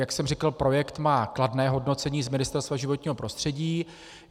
Jak jsem říkal, projekt má kladné hodnocení z Ministerstva životního prostředí.